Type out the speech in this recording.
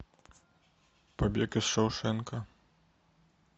побег из шоушенка